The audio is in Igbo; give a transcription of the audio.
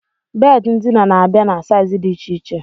Bedi ndina na-abịa na saizi dị iche iche